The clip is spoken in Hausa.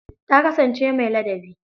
Ta kasansance mai ladabi.